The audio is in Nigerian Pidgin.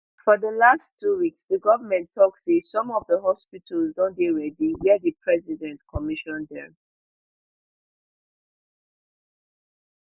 for di last two weeks di goment tok say some of di hospitals don dey ready wia di president commission dem